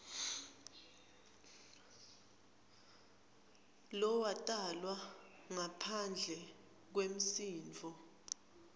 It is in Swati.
lowatalwa ngaphandle kwemshado